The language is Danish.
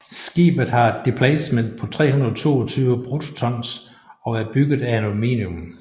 Skibet har et deplacement på 322 BRT og er bygget af aluminium